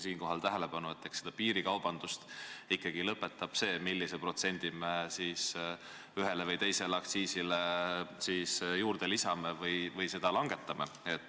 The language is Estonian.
Eks piirikaubanduse lõppemine ikkagi oleneb sellest, millise protsendi me siis ühele või teisele aktsiisile juurde lisame või maha võtame.